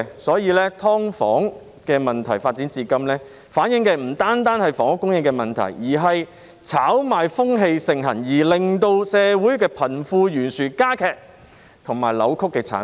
所以，"劏房"問題發展至今，不但反映出房屋供應出現問題，更反映出社會炒賣風氣盛行，是一個令社會貧富懸殊加劇及扭曲的產物。